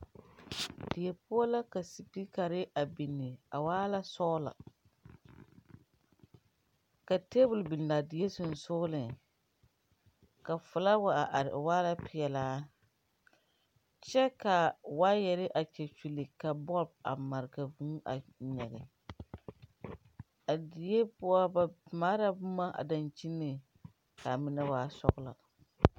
Die poɔ la spiikarre a binni a waala sɔglɔ ka tabole binaa die seŋsɔgliŋ ka flaawa a are o waala peɛlaa kyɛ ka waayarre a kyɛkyulle ka bɔlb a mare ka vūū a nyige a die poɔ ba mare la bomma a daŋkyineŋ kaa mine waa sɔglɔ.